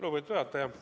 Lugupeetud juhataja!